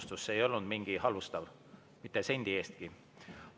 See oli siiras tunnustus, ei olnud halvustav, mitte sendi eestki.